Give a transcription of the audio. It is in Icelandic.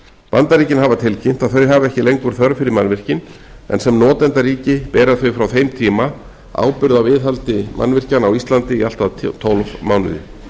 bandaríkin hafa tilkynnt að þau hafi ekki lengur þörf fyrir mannvirkin en sem notendaríki bera þau frá þeim tíma ábyrgð á viðhaldi nato mannvirkja á íslandi í allt að tólf mánuði